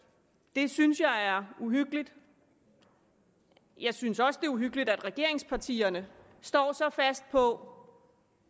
det synes jeg er uhyggeligt jeg synes også det er uhyggeligt at regeringspartierne står så fast på